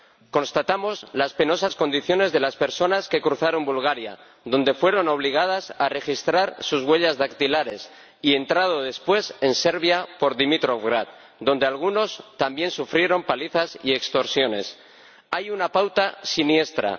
Constatamos las penosas condiciones de las personas que cruzaron Bulgaria, donde fueron obligadas a registrar sus huellas dactilares, y entraron después en Serbia por Dimitrovgrad, donde algunos también sufrieron palizas y extorsiones. Hay una pauta siniestra.